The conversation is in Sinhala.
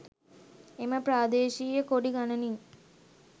එම ප්‍රාදේශීය කොඩි ගණනින්